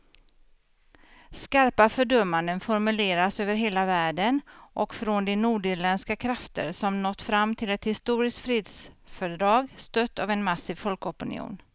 Skarpa fördömanden formuleras över hela världen och från de nordirländska krafter som nått fram till ett historiskt fredsfördrag, stött av en massiv folkopinion.